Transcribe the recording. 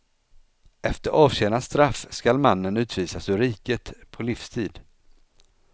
Efter avtjänat straff skall mannen utvisas ur riket på livstid.